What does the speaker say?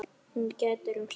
Hún grætur um stund.